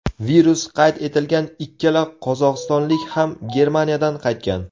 Virus qayd etilgan ikkala qozog‘istonlik ham Germaniyadan qaytgan .